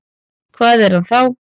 Hvað er hann þá?